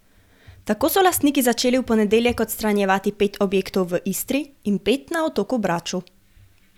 Tako so lastniki začeli v ponedeljek odstranjevati pet objektov v Istri in pet na otoku Braču.